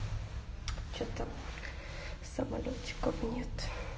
что то самолётиков нет